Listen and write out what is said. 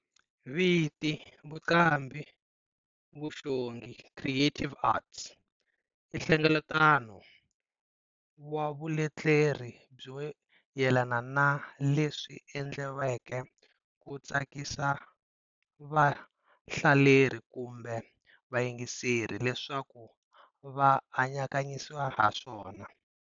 Viti"vuqambhivuxongi, creative arts," i nhlengeleto wa vuleteri byo yelana na leswi endleriweke ku tsakisa va hlaleri kumbe vayingiseri leswaku va anakanyisisa haswona.